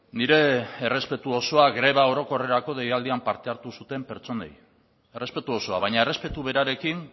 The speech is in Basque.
nire errespetu osoa greba orokorrerako deialdian parte hartu zuten pertsonei errespetu osoa baina errespetu berarekin